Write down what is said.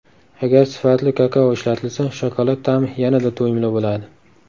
Agar sifatli kakao ishlatilsa, shokolad ta’mi yanada to‘yimli bo‘ladi.